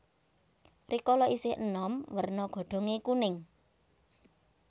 Rikala isih enom werna godhonge kuning